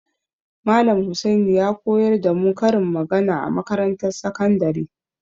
Malam Husaini ya koyar da mu karin magana a makarantar sakandare.